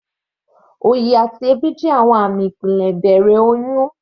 Òyì àti èébì jẹ́ àwọn àmì ìpele ìbẹ̀rẹ̀ oyún.